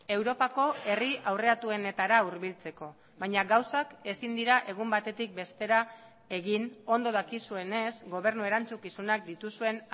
europako herri aurreratuenetara hurbiltzeko baina gauzak ezin dira egun batetik bestera egin ondo dakizuenez gobernu erantzukizunak dituzuen